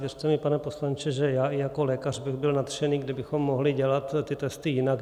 Věřte mi, pane poslanče, že i já jako lékař bych byl nadšený, kdybychom mohli dělat ty testy jinak.